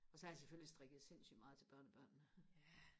og så har jeg selvfølgelig strikket sindssygt meget til børnebørnene